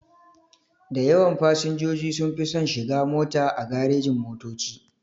Dayawan fasinjoji sunfi son shiga mota a garejin-motoci.